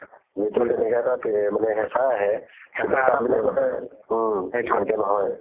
তেনেকা এটা হেচা আহে ভালকে নহয়